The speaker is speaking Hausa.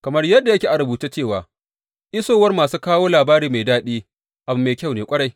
Kamar yadda yake a rubuce cewa, Isowar masu kawo labari mai daɗi abu mai kyau ne ƙwarai!